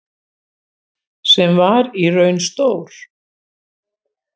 Sem var í raun stór